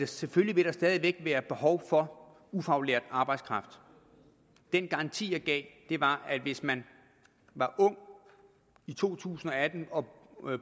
selvfølgelig vil der stadig væk være behov for ufaglært arbejdskraft den garanti jeg gav var at hvis man var ung i to tusind og atten